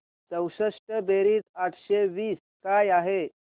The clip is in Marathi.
चौसष्ट बेरीज आठशे वीस काय आहे